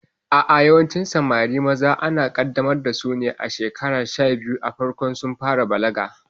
A'a, yawancin Samari maza ana kaddamar dasu ne a shekaru sha biyu a farkon sun fara balaga